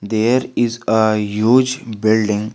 There is a huge building.